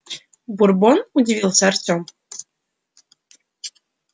бурбон удивился артём